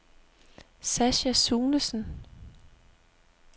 Sascha Sunesen